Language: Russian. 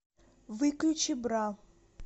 выключи бра